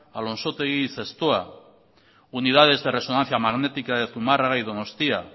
alonsotegi y zestoa unidades de resonancia magnética de zumarraga y donostia